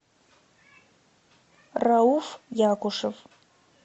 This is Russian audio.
рауф якушев